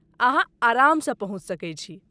अहाँ आरामसँ पहुँच सकैत छी।